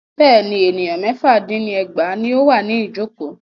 Bẹ́ẹ̀ni, ènìyàn mẹ́fà dín ní ẹgbàá ní o wà ní ìjọ̀kọ́.